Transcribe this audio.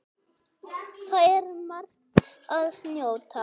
Þar er margs að njóta.